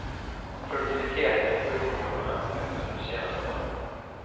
Produktiviteten i sjukvården har ökat under de senaste åren.